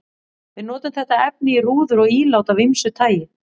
Við notum þetta efni í rúður og ílát af ýmsu tagi.